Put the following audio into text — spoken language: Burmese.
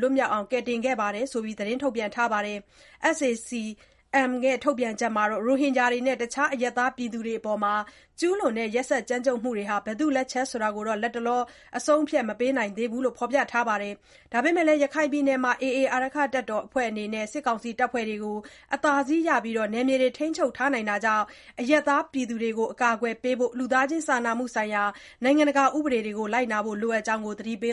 လွတ်မြောက်အောင် ကယ်တင်ခဲ့တာတွေ ရှိတယ်လို့ သတင်းထုတ်ပြန်ထားပါတယ်။ SAC-M ထုတ်ပြန်ချက်မှာတော့ ရိုဟင်ဂျာတွေနဲ့ တခြားအရပ်သားတွေအပေါ် ကျုးလွန်တဲ့ ရက်စက်ကြမ်းကြုတ်မှုတွေဟာ ဘယ်သူ့လက်ချက်ဆိုတာ လတ်တလော အဆုံးအဖြတ် မပေးနိုင်သေးဘူးလို့ ဖော်ပြခဲ့တာပါ။ ဒါပေမဲ့လည်း ရခိုင်ပြည်နယ်မှာ AA အဖွဲ့ဟာ စစ်ကောင်စီတပ်ဖွဲ့တွေကို အသာစီးရပြီး ထိန်းချုပ်ထားတာ ဖြစ်တာကြောင့် အရပ်သားတွေကို အကာအကွယ်ပေးဖို့ လူသားချင်းစာနာမှုဆိုင်ရာ နိုင်ငံတကာ ဥပဒေတွေကို လိုက်နာဖို့ လိုအပ်ကြောင်းလည်း သတိပေ